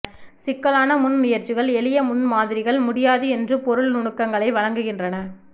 சிக்கலான முன்முயற்சிகள் எளிய முன்மாதிரிகள் முடியாது என்று பொருள் நுணுக்கங்களை வழங்குகின்றன